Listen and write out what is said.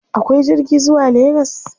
Akwai jirgi zuwa Legas?